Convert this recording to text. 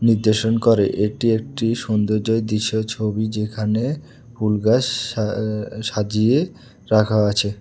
নির্দেশন করে এটি একটি সুন্দর্যর দৃশ্য ছবি যেখানে ফুল গাছ সা সজিয়ে রাখা আছে।